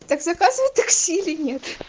так заказываю такси или нет